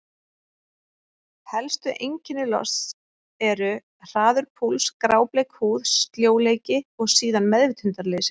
Helstu einkenni losts eru: hraður púls, grábleik húð, sljóleiki og síðan meðvitundarleysi.